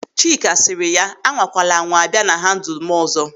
Chika sịrị ya, "A nwakwala anwa a bịa na handulu m ọzọ!"